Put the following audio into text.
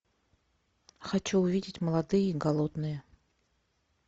хочу увидеть молодые и голодные